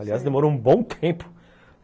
Aliás, demorou um bom tempo.